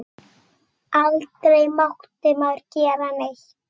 Aldrei mátti maður gera neitt.